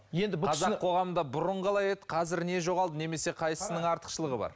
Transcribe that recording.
қазақ қоғамында бұрын қалай еді қазір не жоғалды немесе қайсысының артықшылығы бар